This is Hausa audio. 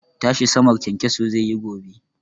Tashi sama kyankyaso zai yi gobe.